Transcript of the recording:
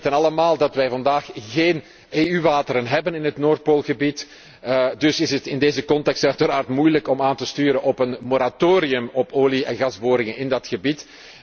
Wij weten allemaal dat wij vandaag geen EU wateren hebben in het Noordpoolgebied, dus is het in deze context uiteraard moeilijk om aan te sturen op een moratorium op olie en gasboringen in dat gebied.